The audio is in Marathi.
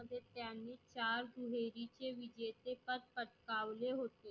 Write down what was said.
त्यांनी चार दुहेरीचे विजेचे पद पटकावले होते.